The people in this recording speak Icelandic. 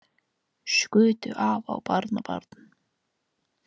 Skutu afa og barnabarn